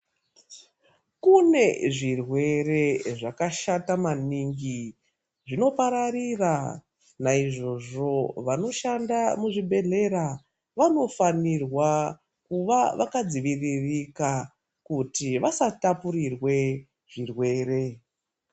Kune zvirwere zvakashata maningi zvinoparira. Naizvozvo vanoshanda muzvibhedhlera vanofanirwa kuva vakadziviririka kuti vasatapurirwe zvirwere.